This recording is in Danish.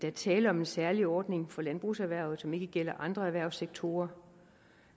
er tale om en særlig ordning for landbrugserhvervet som ikke gælder andre erhvervssektorer